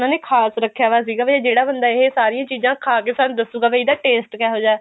ਉਹਨਾ ਨੇ ਖਾਸ ਰੱਖਿਆ ਹੋਇਆ ਸੀਗਾ ਵੀ ਜਿਹੜਾ ਬੰਦਾ ਇਹ ਸਾਰੀਆਂ ਚੀਜ਼ਾਂ ਖਾ ਕੇ ਸਾਨੂੰ ਦੱਸੁਗਾ ਵੀ ਇਹਦਾ taste ਕਿਹੋ ਜਿਹਾ